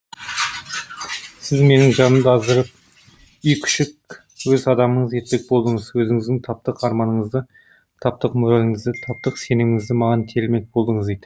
сіз менің жанымды аздырып үй күшік өз адамыңыз етпек болдыңыз өзіңіздің таптық арманыңызды таптық мораліңізді таптық сеніміңізді маған телімек болдыңыз